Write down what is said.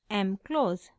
mclose